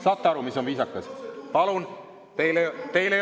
Saate aru, mis on viisakas?!